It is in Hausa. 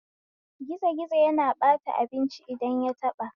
Gizo gizo yana ɓata abinci idan yataɓa